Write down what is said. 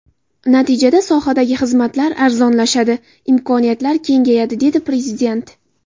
Natijada sohadagi xizmatlar arzonlashadi, imkoniyatlar kengayadi, dedi Prezident.